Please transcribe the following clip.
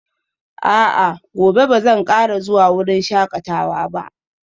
A'a, gobe ba zan kara zuwa wurin shakatawa ba